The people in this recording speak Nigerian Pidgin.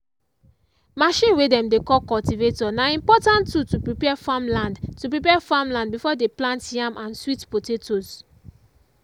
machine way dem dey call cultivator na important tool to prepare farmland to prepare farmland before dem plant yam and sweet potatoes.